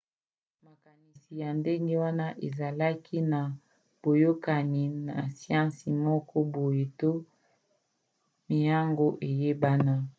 makanisi ya ndenge wana ezalaka na boyokani na siansi moko boye to miango eyebana